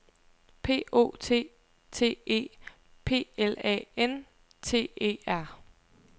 P O T T E P L A N T E R